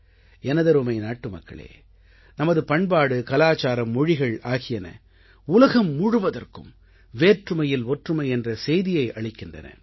எனதருமை நாட்டுமக்களே நமது பண்பாடு கலாச்சாரம் மொழிகள் ஆகியன உலகம் முழுவதற்கும் வேற்றுமையில் ஒற்றுமை என்ற செய்தியை அளிக்கின்றன